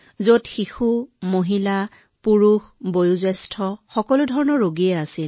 তাত সৰু লৰাছোৱালী মহিলা পুৰুষ বৃদ্ধ সকলো ধৰণৰ ৰোগী আছিল